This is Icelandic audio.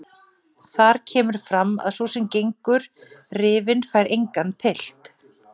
Þar kemur fram að sú sem gengur rifin fær engan pilt.